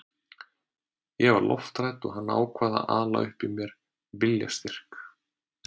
Ég var lofthrædd og hann ákvað að ala upp í mér viljastyrk.